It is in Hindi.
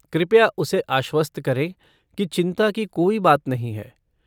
कृपया उसे आश्वस्त करें कि चिंता की कोई बात नहीं है।